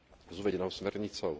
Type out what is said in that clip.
s uvedenou smernicou.